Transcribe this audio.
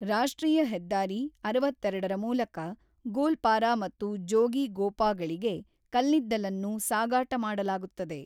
ರಾಷ್ಟ್ರೀಯ ಹೆದ್ದಾರಿ ಅರವತ್ತೆರಡರ ಮೂಲಕ ಗೋಲ್ಪಾರಾ ಮತ್ತು ಜೋಗಿಗೋಪಾಗಳಿಗೆ ಕಲ್ಲಿದ್ದಲನ್ನು ಸಾಗಾಟ ಮಾಡಲಾಗುತ್ತದೆ.